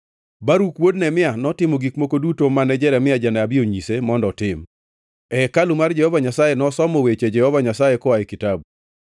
Baruk wuod Neria notimo gik moko duto mane Jeremia janabi onyise mondo otim; e hekalu mar Jehova Nyasaye nosomo weche Jehova Nyasaye koa e kitabu.